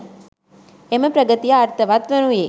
එම ප්‍රගතිය අර්ථවත් වනුයේ